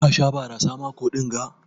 Ka Sha barasa mako dinga?